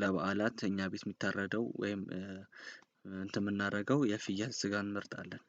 ለበዓላት እኛ ቤት የሚታረደው ወይም እንትን የምናደርገው የፍየል ስጋን እንመርጣለን።